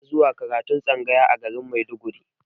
Ana zuwa karatun tsangaya a garin maiduguri